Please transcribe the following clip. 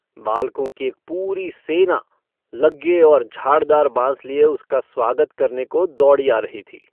बालकों की एक पूरी सेना लग्गे और झाड़दार बाँस लिये उसका स्वागत करने को दौड़ी आ रही थी।